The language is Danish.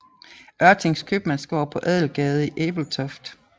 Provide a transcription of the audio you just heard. Ørtings købmandsgård på Adelgade i Ebeltoft